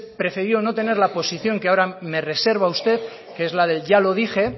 preferido no tener la posición que ahora me reserva usted que es la del ya lo dije